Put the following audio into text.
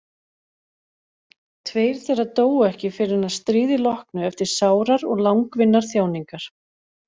Tveir þeirra dóu ekki fyrr en að stríði loknu eftir sárar og langvinnar þjáningar.